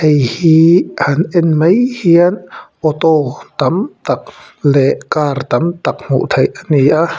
han en mai hian auto tam tak leh car tam tak hmuh theih a ni a.